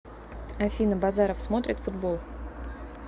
афина базаров смотрит футбол